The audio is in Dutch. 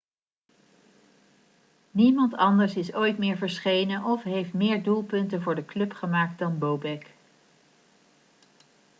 niemand anders is ooit meer verschenen of heeft meer doelpunten voor de club gemaakt dan bobek